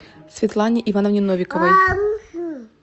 светлане ивановне новиковой